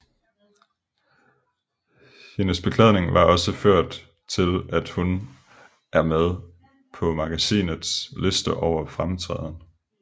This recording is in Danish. Hendes beklædning har også ført til at hun er med på magasinets lister over fremtræden